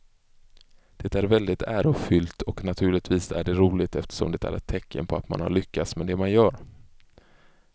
Det är väldigt ärofyllt och naturligtvis är det roligt eftersom det är ett tecken på att man har lyckats med det man gör.